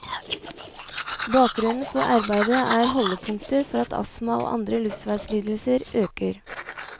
Bakgrunnen for arbeidet er holdepunkter for at astma og andre luftveislidelser øker.